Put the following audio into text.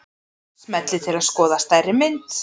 Smellið til að skoða stærri mynd.